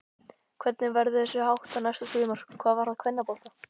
Hvernig verður þessu háttað næsta sumar hvað varðar kvennabolta?